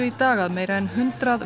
í dag að meira en hundrað